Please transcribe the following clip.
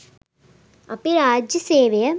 අපි රාජ්‍ය සේවය